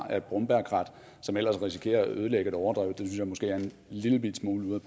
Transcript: af et brombærkrat som ellers risikerer at ødelægge et overdrev synes jeg måske er en lillebitte smule ude